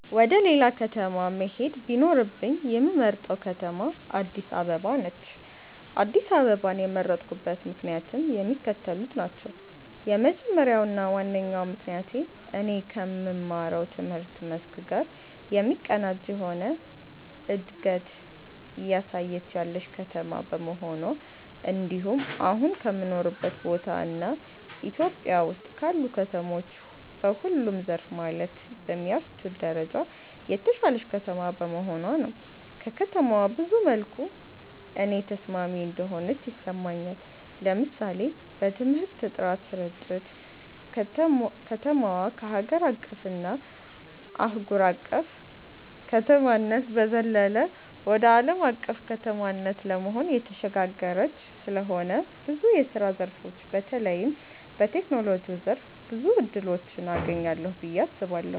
ወደ ሌላ ከተማ መሄድ ቢኖርብኝ የምመርጣት ከተማ አድስ አበባ ነች። አድስ አበባን የመረጥኩበት ምክንያትም የሚከተሉት ናቸው። የመጀመሪያው እና ዋነኛው ምክንያቴ እኔ ከምማረው ትምህርት መስክ ጋር የሚቀናጅ የሆነ እንደገት እያሳየች ያለች ከተማ በመሆኗ እንድሁም አሁን ከምኖርበት ቦታ እና ኢትዮጵያ ውስጥ ካሉ ከተሞች በሁሉም ዘርፍ ማለት በሚያስችል ደረጃ የተሻለች ከተማ በመሆኗ ነው። ከተማዋ ብዙ መልኩ ለኔ ተስማሚ እንደሆነች ይሰማኛል። ለምሳሌ በትምህርት ጥራት ስርጭት፣ ከተማዋ ከሀገር አቀፍ እና አህጉር አቅፍ ከተማነት በዘለለ ወደ አለም አቀፍ ከተማነት ለመሆን እየተሸጋገረች ስለሆነ ብዙ የስራ ዘርፎች በተለይም በቴክኖሎጂው ዘርፍ ብዙ እድሎችን አገኛለሁ ብየ አስባለሁ።